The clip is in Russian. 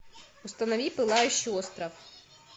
установи пылающий остров